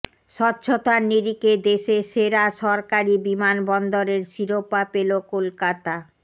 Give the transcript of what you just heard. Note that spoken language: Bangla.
স্বচ্ছতার নিরিখে দেশের সেরা সরকারি বিমানবন্দরের শিরোপা পেল কলকাতা